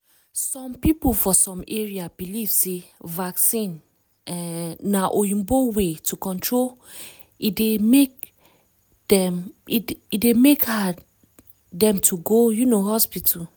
some people for some area believe sey vaccines um na oyibo way to control e dey make hard dem to go um hospital.